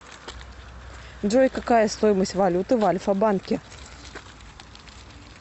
джой какая стоимость валюты в альфа банке